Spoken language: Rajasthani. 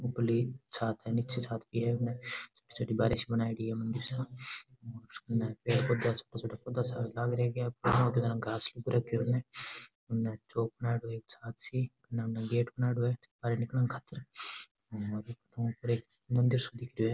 ऊपरली छात है नीचे छात है बुने छोटी छोटी बारी सी बनायेड़ी है मंदिर सा उनने पेड़ पौधा छोटा छोटा पौधा सा लाग रख्या है घास उग रखयो है उन्ने उन्नी चौक बनायेड़ो एक छात सी काई नाम गेट बनायेड़ो है बाहरे निकलन खातर और बटु उपरे एक मंदिर सो दिख रियो है।